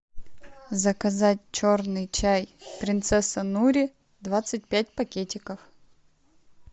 заказать черный чай принцесса нури двадцать пять пакетиков